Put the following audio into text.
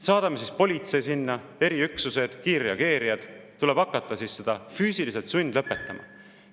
Saadame siis sinna politsei, eriüksused, kiirreageerijad, tuleb hakata neid füüsiliselt sundlõpetama.